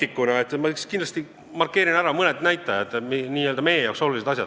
Ja kuna ma olen siin puldis ka Isamaa poliitikuna, siis markeerin ära mõned näitajad, mis on meie jaoks olulised.